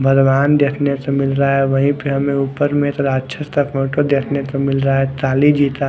भगवान् देखने को मिल रहा है वही पर हमे ऊपर में एक राक्षस का फोटो देखने को मिल रहा है काली जी का--